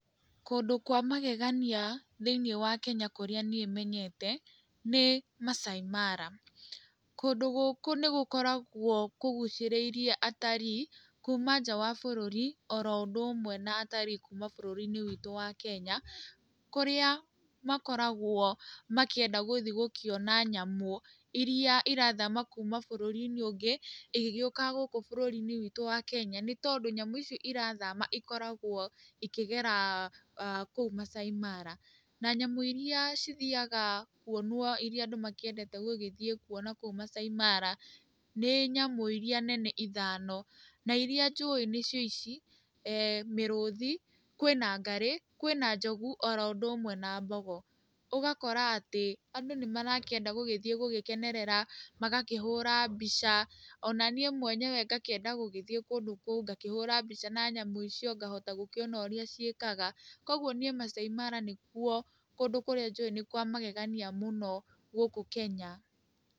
Kũndũ kwa magegania thĩiniĩ wa Kenya kũrĩa niĩ menyete nĩ Maasai Mara. Kũndũ gũkũ nĩ gũkoragwo kũgucĩrĩirie watalii kuuma nja wa bũrũri, oro ũndũ ũmwe na watalii kuuma bũrũri-inĩ witũ wa Kenya, kũrĩa makoragwo makĩenda gũthiĩ gũkĩona nyamũ iria irathama kuuma bũrũri-inĩ ũngĩ igĩgĩũka gũkũ bũrũri-inĩ witũ wa Kenya nĩ tondũ nyamũ ici irathama ikoragwo ikĩgera kũu Maasai Mara. Na nyamũ iria cithiaga kuonwo iria andũ makĩendete gũgĩthiĩ kuona kũu Maasai Mara, nĩ nyamũ iria nene ithano, na iria njũĩ nĩ cio ici, Mĩrũthi, ngarĩ, kwĩna njogu, oro ũndũ ũmwe na mbogo, ũgakora atĩ, andũ nĩ marakĩenga gũgĩthiĩ gũgĩkenerera, magakĩhũra mbica ona niĩ mwenyewe ngakĩenda gũgĩthiĩ kũndũ kũu ngakĩhũra mbica na nyamũ icio, ngahota gũkĩona ũrĩa ciĩkaga. Kũguo niĩ Maasai Mara nĩ kuo kũndũ kũrĩa njũĩ nĩ kwa magegania mũno gũkũ Kenya.